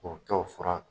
K'o kɛ o fura